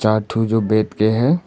चार ठो जो बैठ के है।